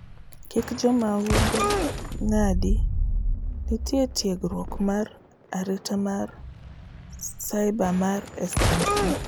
kik jomahundu ng'adi; nitie tiegruok mar arita mar cibremar SME